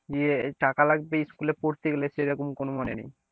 ইয়ে টাকা লাগবে school এ পড়তে গেলে সেরকম কোনো মানে নেই।